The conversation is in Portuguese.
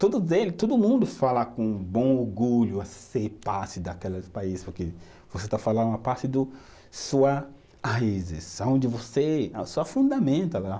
Todos eles, todo mundo fala com bom orgulho a ser parte daquele país, porque você está falando uma parte do, sua raízes, aonde você, a sua